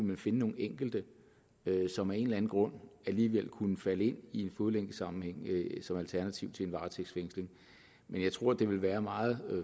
man finde nogle enkelte som af en eller anden grund alligevel kunne falde ind i en fodlænkesammenhæng som alternativ til en varetægtsfængsling men jeg tror det vil være meget